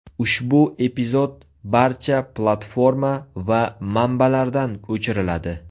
Ushbu epizod barcha platforma va manbalardan o‘chiriladi.